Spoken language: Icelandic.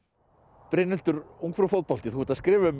Brynhildur ungfrú fótbolti þú ert að skrifa um